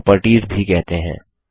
इन्हें प्रॉपर्टीज भी कहते हैं